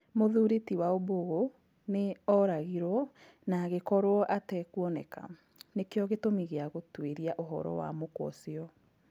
Mũthurĩ ti Waumbũgũnĩ oragĩrwo na agĩkorwo atekwoneka, nĩkĩo gĩtũmi gĩa gũtwĩria ũhoro wa mũkwa ũcio.